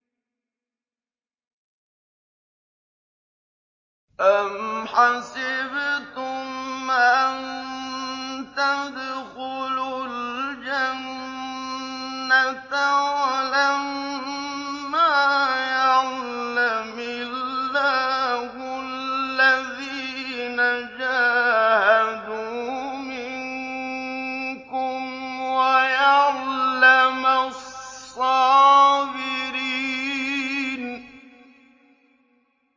أَمْ حَسِبْتُمْ أَن تَدْخُلُوا الْجَنَّةَ وَلَمَّا يَعْلَمِ اللَّهُ الَّذِينَ جَاهَدُوا مِنكُمْ وَيَعْلَمَ الصَّابِرِينَ